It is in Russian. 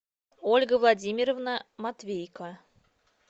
ольга владимировна матвейко